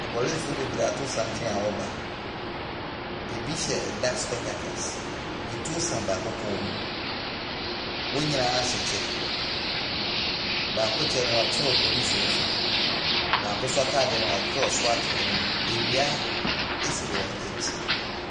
Apolisifoɔ bebree ato santen a wɔreba, bi hyɛ dark spectacles, atuo sɛn baako kɔn mu, wɔn nyinaa hyɛ kyɛ, baako kyɛ no wɔatwerɛ Police wɔ so, baako nso ataadeɛ no wɔatwerɛ SWAT wɔ anim. Nnua si wɔn akyi.